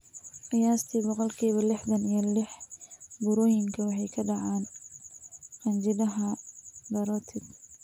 Qiyaastii boqolkiba lixdan iyo lix burooyinkan waxay ku dhacaan qanjidhada parotid.